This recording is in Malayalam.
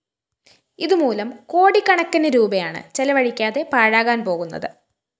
ഇതുമൂലം കോടിക്കണക്കിന് രൂപയാണ് ചെലവഴിക്കാതെ പാഴാകാന്‍ പോകുന്നത്